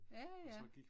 Ja ja